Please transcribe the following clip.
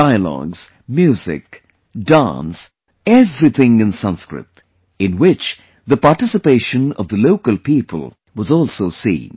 Dialogues, music, dance, everything in Sanskrit, in which the participation of the local people was also seen